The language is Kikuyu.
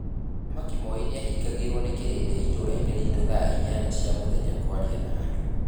Muthamaki Moi nĩahingagĩrwo nĩ kĩrĩndĩ itũraĩnĩ ritũ thaa inyanya cia mũthenya kwaria na andũ.